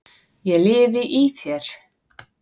ég lifi í þér.